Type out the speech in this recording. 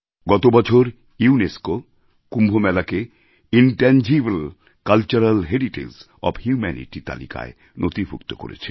গত বছর ইউনেস্কো কুম্ভ মেলাকে intangible cultural heritage of humanity তালিকায় নথিভুক্ত করেছে